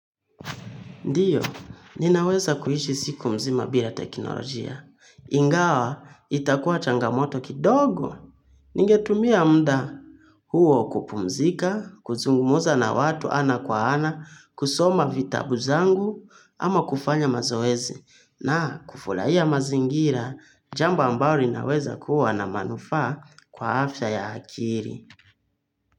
Ndiyo, ninaweza kuishi siku mzima bila teknolojia. Ingawa, itakuwa changamoto kidogo. Ningetumia mda huo kupumzika, kuzungumza na watu ana kwa ana, kusoma vitabu zangu, ama kufanya mazoezi. Na kufurahia mazingira, jambo ambalo linaweza kuwa na manufaa kwa afya ya akili.